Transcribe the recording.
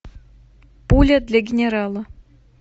пуля для генерала